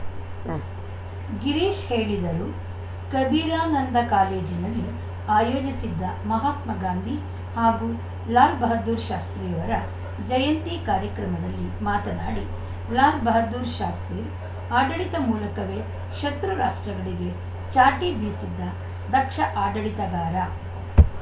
ಉಂ ಗಿರೀಶ್‌ ಹೇಳೀದರು ಕಬೀರಾನಂದ ಕಾಲೇಜಿನಲ್ಲಿ ಆಯೋಜಿಸಿದ್ದ ಮಹಾತ್ಮ ಗಾಂಧಿ ಹಾಗೂ ಲಾಲ್‌ ಬಹದ್ದೂರ್‌ ಶಾಸ್ತ್ರೀಯವರ ಜಯಂತಿ ಕಾರ್ಯಕ್ರಮದಲ್ಲಿ ಮಾತನಾಡಿ ಲಾಲ್‌ ಬಹದ್ದೂರ್‌ ಶಾಸ್ತ್ರೀ ಆಡಳಿತ ಮೂಲಕವೆ ಶತ್ರು ರಾಷ್ಟ್ರಗಳಿಗೆ ಚಾಟಿ ಬೀಸಿದ ದಕ್ಷ ಆಡಳಿತಗಾರ